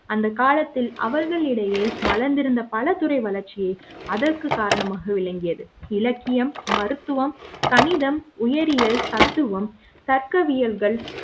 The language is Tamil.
அந்த காலத்தில் அவர்களிடையே மலர்ந்திருந்த பல துறை வளர்ச்சியே அதற்கு காரணமாக விளங்கியது இலக்கியம் மருத்துவம் கணிதம் உயிரியல் தத்துவம் தர்க்கவியல்கள்